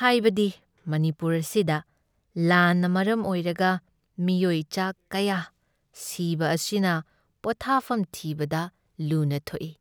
ꯍꯥꯏꯕꯗꯤ ꯃꯅꯤꯄꯨꯔ ꯑꯁꯤꯗ ꯂꯥꯟꯅ ꯃꯔꯝ ꯑꯣꯏꯔꯒ ꯃꯤꯑꯣꯏ ꯆꯥ ꯀꯌꯥ ꯁꯤꯕ ꯑꯁꯤꯅ ꯄꯣꯊꯥꯐꯝ ꯊꯤꯕꯗ ꯂꯨꯅ ꯊꯣꯛꯏ ꯫